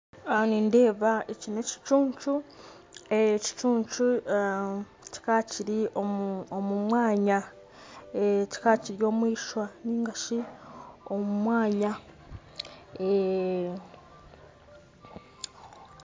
Aha nindeeba eki ni ekicuncu kikaba kiri omu mwanya kikaba kiri omu iswa ningashi omu mwanya